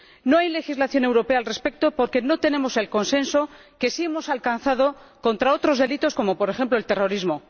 No hay legislación europea al respecto porque no tenemos el consenso que sí hemos alcanzado contra otros delitos como, por ejemplo, el terrorismo.